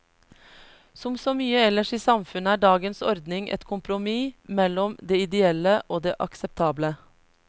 Som så mye ellers i samfunnet er dagens ordning et kompromiss mellom det ideelle og det akseptable.